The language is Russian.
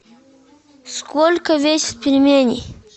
сколько весят пельмени